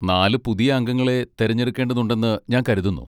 നാല് പുതിയ അംഗങ്ങളെ തിരഞ്ഞെടുക്കേണ്ടതുണ്ടെന്ന് ഞാൻ കരുതുന്നു.